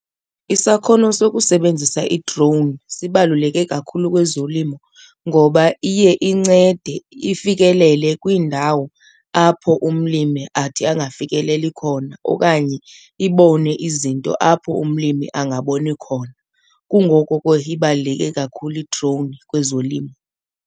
Isakhono sokusebenzisa i-drone sibaluleke kakhulu kwezolimo ngoba iye incede ifikelele kwiindawo apho umlimi athi angafikeleli khona okanye ibone izinto apho umlimi angaboni khona. Kungoko ke ibaluleke kakhulu i-drone kwezolimo.